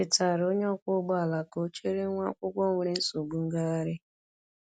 O chetaara onye ọkwọ ụgbọ ala ka ọ chere nwa akwụkwọ nwere nsogbu ngagharị.